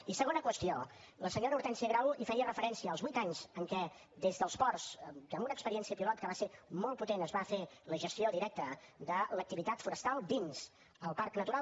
i segona qüestió la senyora hortènsia grau feia referència als vuit anys en què des dels ports amb una experiència pilot que va ser molt potent es va fer la gestió directa de l’activitat forestal dins el parc natural